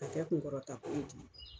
Ka kɛ kunkɔrɔtako ye